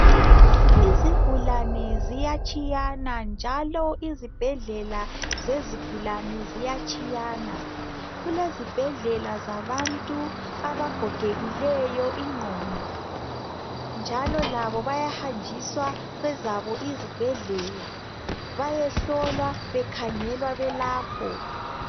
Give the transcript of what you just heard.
Izigulane ziyatshiyana njalo izibhedlela zezigulane ziyatshiyana .Kulezibhedlela zabantu abagogekileyo ingqondo njalo labo bayahanjiswa kwezabo izibhedlela bayehlolwa bekhangelwa belapho .